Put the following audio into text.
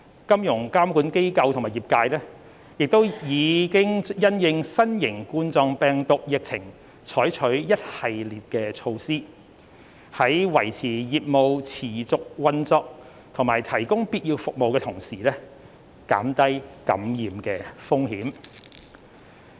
金融監管機構和業界亦已因應新型冠狀病毒疫情採取一系列措施，在維持業務持續運作及提供必要服務的同時，減低感染風險。